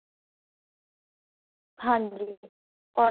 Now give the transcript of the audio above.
ਹਾਂਜੀ cotton